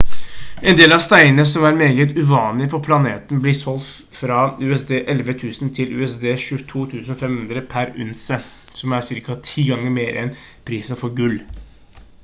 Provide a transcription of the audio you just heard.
en del av steinene som er meget uvanlige på planeten blir solgt fra usd 11 000 til usd 22 500 per unse som er ca 10 ganger mer enn prisen for gull